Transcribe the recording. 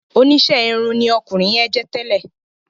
Oníṣe irun ní ọkunrin yẹn jẹ tẹlẹ